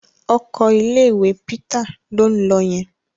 Ọkọ̀ ilé-ìwé Peter ló ń lọ yẹn.